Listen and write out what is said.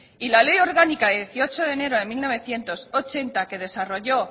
y la ley orgánica de dieciocho de enero de mil novecientos ochenta que desarrolló